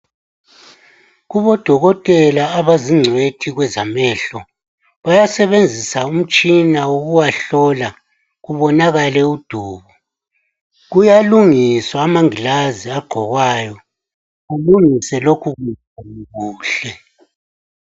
KuboDokotela abazingcitshi kwezamehlo bayasebenzisa umtshina wokuwahlola kubonakale udubo kuyalungiswa amangilazi agqokwayo kubonakale kulungise lokhukunkungu kuhle.